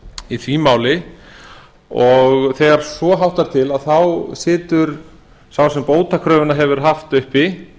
í því máli og þegar svo háttar til þá stendur sá sem bótakröfuna hefur haft uppi